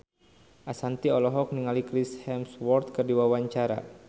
Ashanti olohok ningali Chris Hemsworth keur diwawancara